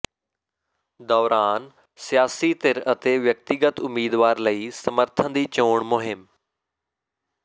ਦੌਰਾਨ ਸਿਆਸੀ ਧਿਰ ਅਤੇ ਵਿਅਕਤੀਗਤ ਉਮੀਦਵਾਰ ਲਈ ਸਮਰਥਨ ਦੀ ਚੋਣ ਮੁਹਿੰਮ